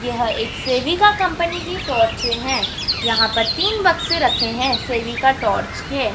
यह एक सेविका कंपनी की टॉर्चें हैं यहाँ पर तीन बक्से रखे हैं सेविका टॉर्च के।